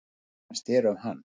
Hvað fannst þér um hann?